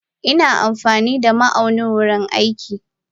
Ina amfanida ma aunin wurin aiki.